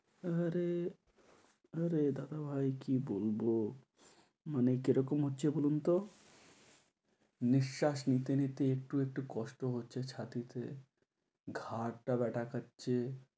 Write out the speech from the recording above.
আরে আরে দাদা ভাই, কী বলব মানে কীরকম হচ্ছে বলুন তো নিঃশ্বাস নিতে নিতে একটু একটু কষ্ট হচ্ছে ছাতিতে, ঘারটা ব্যাথা করছে